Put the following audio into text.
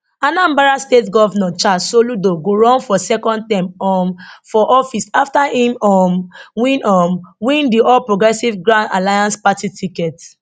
anambra state govnor charles soludo go run for second term um for office afta im um win um win di all progressives grand alliance party ticket